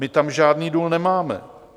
My tam žádný důl nemáme.